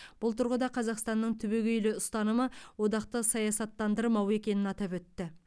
бұл тұрғыда қазақстанның түбегейлі ұстанымы одақты саясаттандырмау екенін атап өтті